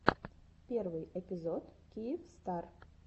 первый эпизод киевстар